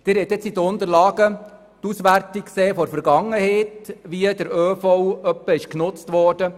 Sie haben in den Unterlagen die Auswertung gesehen, wie der ÖV in der Vergangenheit genutzt wurde.